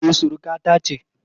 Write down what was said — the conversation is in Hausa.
E, surukata ce